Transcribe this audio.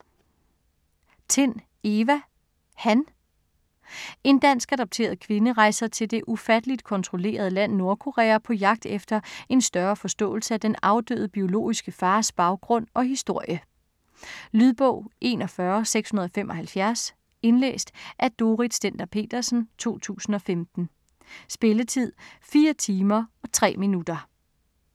Tind, Eva: Han En dansk adopteret kvinde rejser til det ufatteligt kontrollerede land Nordkorea på jagt efter en større forståelse af den afdøde, biologiske fars baggrund og historie. Lydbog 41675 Indlæst af Dorrit Stender-Petersen, 2015. Spilletid: 4 timer, 3 minutter.